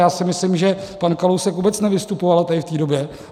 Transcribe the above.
Já si myslím, že pan Kalousek vůbec nevystupoval tady v té době.